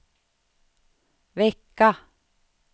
vecka